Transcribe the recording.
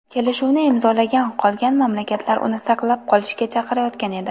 Kelishuvni imzolagan qolgan mamlakatlar uni saqlab qolishga chaqirayotgan edi.